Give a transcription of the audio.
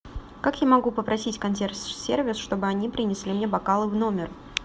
как я могу попросить консьерж сервис чтобы они принесли мне бокалы в номер